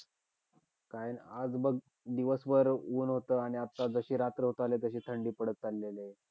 काय नाही, आज बघ. दिवसभर ऊन होतं आणि आता जशी रात्र होतं चाललीये, तशी थंडी पडत चाललीये रे.